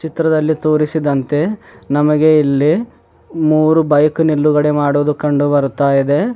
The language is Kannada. ಚಿತ್ರದಲ್ಲಿ ತೋರಿಸಿದಂತೆ ನಮಗೆ ಇಲ್ಲಿ ಮೂರು ಬೈಕ್ ನಿಲ್ಲುಗಡೆ ಮಾಡಿರೋದು ಕಂಡು ಬರುತ್ತಾ ಇದೆ.